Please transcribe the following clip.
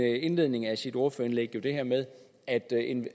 i indledningen af sit ordførerindlæg at